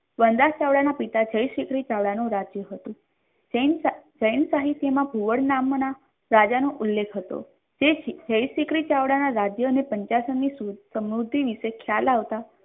વનરાજના પિતા જયશ્રી રાજાનું રાજ્ય હતું સહીન સાહિત્યમાં ઘુવડ નામના રાજાનો ઉલ્લેખ હતો તેથી જયશિખરી રાજાના રાજ્યને પંચાસણની સમૃદ્ધિ વિશે ખ્યાલ આવતા.